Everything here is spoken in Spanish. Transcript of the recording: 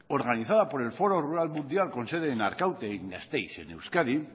organizada por el foro rural mundial con sede en arkaute y en gasteiz en euskadi